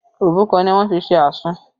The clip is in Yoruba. Òbúkọ ni wọ́n fi ṣe àsun